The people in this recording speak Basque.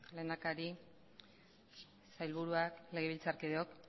lehendakari sailburuak legebiltzarkideok